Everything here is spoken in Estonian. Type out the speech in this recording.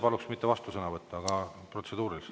Paluks mitte vastusõnavõtt, vaid protseduuriliselt ...